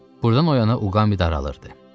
Buradan o yana Uqami daralırdı.